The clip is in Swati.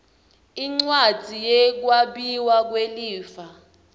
incwadzi yekwabiwa kwelifa